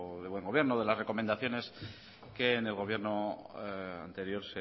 del buen gobierno de las recomendaciones que en el gobierno anterior